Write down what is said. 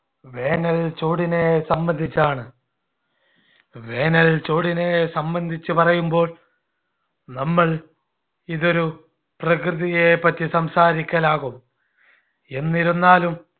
വേനൽച്ചൂടിനെ സംബന്ധിച്ചാണ്. വേനൽച്ചൂടിനെ സംബന്ധിച്ചു പറയുമ്പോൾ നമ്മൾ ഇതൊരു പ്രകൃതിയെപറ്റി സംസാരിക്കലാവും. എന്നിരുന്നാലും